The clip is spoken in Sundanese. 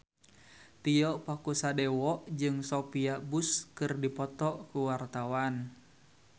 Tio Pakusadewo jeung Sophia Bush keur dipoto ku wartawan